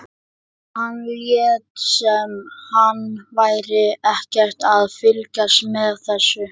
Hann lét sem hann væri ekkert að fylgjast með þessu.